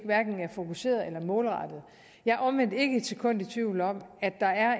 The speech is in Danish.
hverken er fokuserede eller målrettede jeg er omvendt ikke et sekund i tvivl om at der er